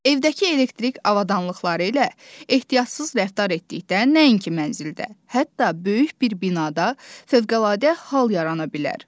Evdəki elektrik avadanlıqları ilə ehtiyatsız rəftar etdikdə nəinki mənzildə, hətta böyük bir binada fövqəladə hal yarana bilər.